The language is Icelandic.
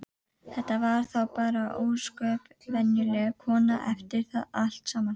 Þetta var þá bara ósköp venjuleg kona eftir allt saman.